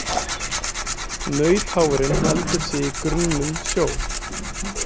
Nautháfurinn heldur sig í grunnum sjó.